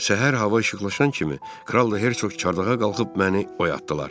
Səhər hava işıqlaşan kimi kral da Herçoq çardağa qalxıb məni oyatdılar.